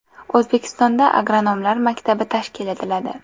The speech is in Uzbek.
O‘zbekistonda agronomlar maktabi tashkil etiladi.